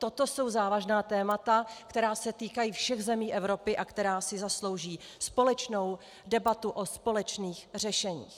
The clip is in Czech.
Toto jsou závažná témata, která se týkají všech zemí Evropy a která si zaslouží společnou debatu o společných řešeních.